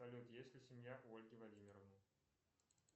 салют есть ли семья у ольги владимировны